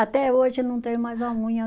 Até hoje não tenho mais a unha.